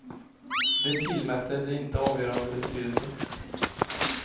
De tillmätte det inte avgörande betydelse.